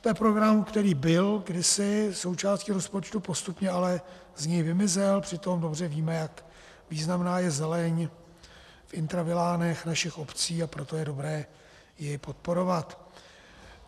To je program, který byl kdysi součástí rozpočtu, postupně ale z něj vymizel, přitom dobře víme, jak významná je zeleň v intravilánech našich obcí, a proto je dobré ji podporovat.